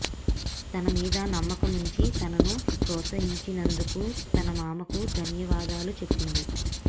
తన మీద నమ్మకముంచి తనను పోత్సహించినందుకు తన మామకు ధన్యవాదాలు చెప్పింది